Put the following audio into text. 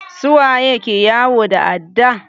Su waye ke yawo da adda?